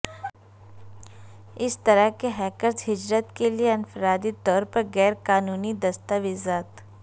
اس طرح کے ہیکرز ہجرت کے لئے انفرادی طور پر غیر قانونی دستاویزات